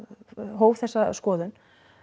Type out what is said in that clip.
hóf þessa skoðun